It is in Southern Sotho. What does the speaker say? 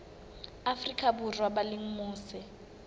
afrika borwa ba leng mose